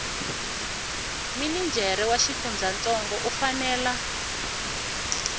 minijere wa xifundzantsongo u fanela